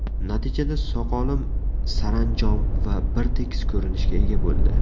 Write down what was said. Natijada soqolim saranjom va bir tekis ko‘rinishga ega bo‘ldi.